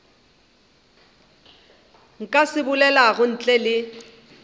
ka se bolelago ntle le